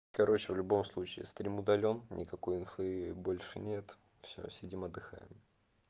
короче в любом случае стрим удалён никакой инфы больше нет всё сидим отдыхаем